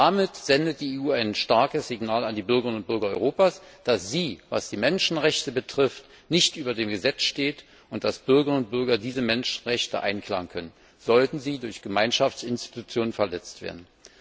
Damit sendet die EU ein starkes Signal an die Bürgerinnen und Bürger Europas, dass sie, was die Menschenrechte betrifft, nicht über dem Gesetz steht und dass die Bürgerinnen und Bürger diese Menschenrechte einklagen können, sollten sie durch Gemeinschaftsinstitutionen verletzt werden.